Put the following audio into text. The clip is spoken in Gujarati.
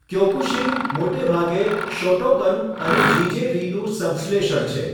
ક્યોકુશિન મોટે ભાગે શોટોકન અને જીજે રીનું સંશ્લેષણ છે.